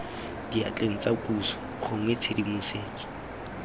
diatleng tsa puso gongwe tshedimosetso